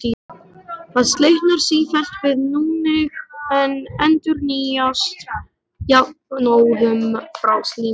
Það slitnar sífellt við núning en endurnýjast jafnóðum frá slímlaginu.